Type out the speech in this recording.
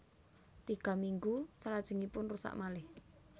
Tiga minggu selajengipun rusak malih